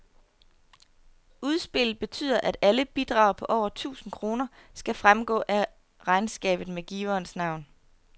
Udspillet betyder, at alle bidrag på over tusind kroner skal fremgå af regnskabet med giverens navn.